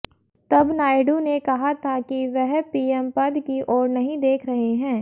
तब नायडू ने कहा था कि वह पीएम पद की ओर नहीं देख रहे हैं